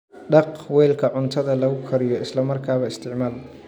Dhaq weelka cuntada lagu kariyo isla markaaba isticmaal.